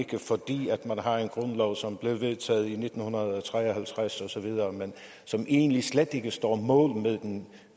og har en grundlov som blev vedtaget i nitten tre og halvtreds osv og som egentlig slet ikke står mål med den